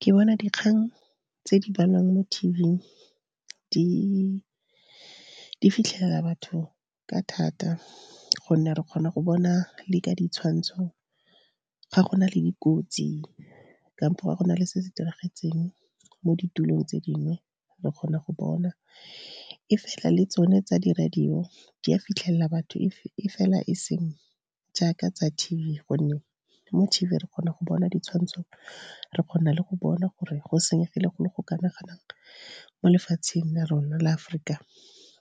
Ke bona dikgang tse di balwang mo T_V-ing di fitlhela batho ka thata, gonne re kgona go bona le ka ditshwantsho, ga go na le dikotsi kampo ga go na le se se diragetseng mo ditulong tse dingwe, re kgona go bona. E fela le tsone tsa di-radio di a fitlhelela batho e fela e seng jaaka tsa T_V. Gonne mo T_V re kgona go bona ditshwantsho re kgona le go bona gore go senyegile go le go kana-kanang mo lefatsheng la rona la Aforika